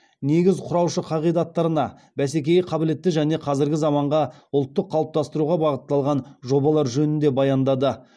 негіз құраушы қағидаттарына бәсекеге қабілетті және қазіргі заманғы ұлтты қалыптастыруға бағытталған жобалар жөнінде баяндады